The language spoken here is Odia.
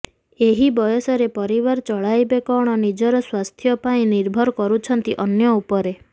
ଏହି ବୟସରେ ପରିବାର ଚଳାଇବେ କଣ ନିଜର ସ୍ୱାସ୍ଥ୍ୟ ପାଇଁ ନିର୍ଭର କରୁଛନ୍ତି ଅନ୍ୟ ଉପରେ